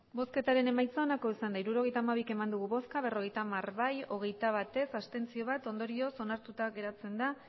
hirurogeita hamabi eman dugu bozka berrogeita hamar bai hogeita bat ez bat abstentzio ondorioz onartuta geratzen da